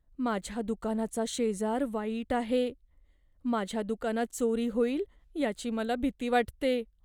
माझ्या दुकानाचा शेजार वाईट आहे. माझ्या दुकानात चोरी होईल याची मला भीती वाटते.